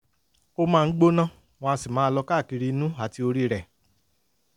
ó máa ń gbóná wọ́n á sì máa lọ káàkiri inú àti orí rẹ̀